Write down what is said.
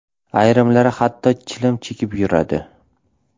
Ayrimlari hatto chilim chekib yuradi.